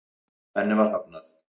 Henni var hafnað.